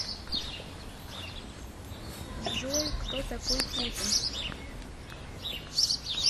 джой кто такой путин